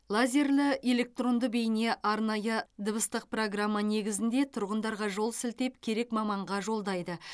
лазерлі электронды бейне арнайы дыбыстық программа негізінде тұрғындарға жол сілтеп керек маманға жолдайды